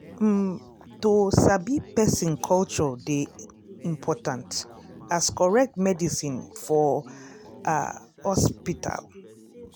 um to sabi person culture dey important as correct medicine for ah hospital.